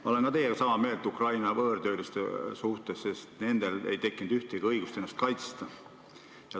Ma olen teiega sama meelt Ukraina võõrtööliste suhtes, sest neil ei tekkinud mingit õigust ennast kaitsta.